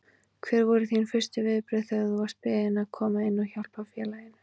Hver voru þín fyrstu viðbrögð þegar þú varst beðinn að koma inn og hjálpa félaginu?